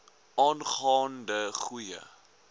aangaan de goeie